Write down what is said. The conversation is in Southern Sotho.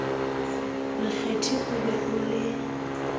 lekgethi o be o le